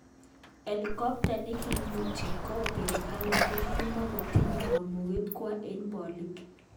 Elekopta nekimuti Kobe Bryant kokimotinye kamuget kwo eng bolik.